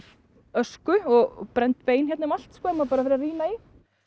ösku og brennd bein hérna um allt ef maður bara fer að rýna í